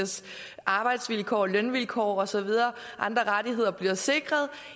arbejds og lønvilkår og så videre og andre rettigheder bliver sikret